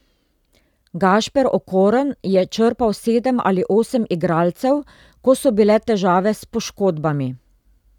Gašper Okorn je črpal sedem ali osem igralcev, ko so bile težave s poškodbami.